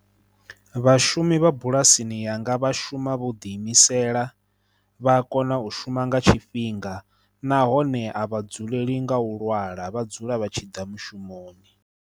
Vhashumi vha bulasini yanga vha shuma vho ḓi imisela, vha a kona u shuma nga tshifhinga, nahone a vha dzuleli nga u lwala vha dzula vha tshi ḓa mushumoni.